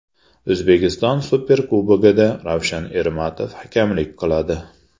O‘zbekiston Superkubogida Ravshan Ermatov hakamlik qiladi.